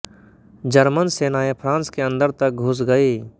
German सेनाएँ France के अंदर तक घुस गयीं